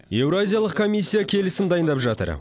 еуразиялық комиссия келісім дайындап жатыр